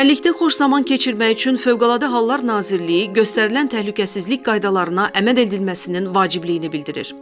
Çimərlikdə xoş zaman keçirmək üçün Fövqəladə Hallar Nazirliyi göstərilən təhlükəsizlik qaydalarına əməl edilməsinin vacibliyini bildirir.